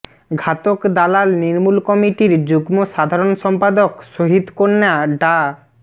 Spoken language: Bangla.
ঘাতক দালাল নির্মূল কমিটির যুগ্ম সাধারণ সম্পাদক শহীদকন্যা ডা